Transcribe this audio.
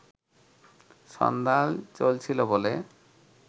সন্ধান চলছিল বলে